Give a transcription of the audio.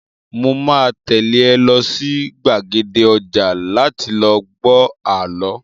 Mo máa tẹ́lé ẹ lọ sí gbàgede ọjà láti lọ gbọ àlọ́